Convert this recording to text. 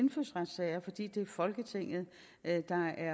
folketinget er